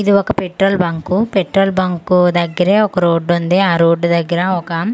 ఇది ఒక petrol bunk petrol bunk దగ్గరే ఒక రోడ్డు ఉంది ఆ రోడ్డు దగ్గర ఒక--